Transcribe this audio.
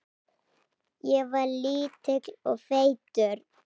Ég var lítill og feitur.